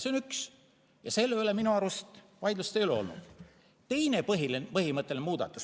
See on üks ja selle üle minu arust vaidlust ei ole olnud.